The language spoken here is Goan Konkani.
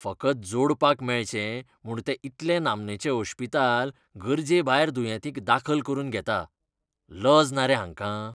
फकत जोडपाक मेळचें म्हूण तें इतलें नामनेचें ओश्पिताल गरजेभायर दुयेंतीक दाखल करून घेता. लज ना रे हांकां?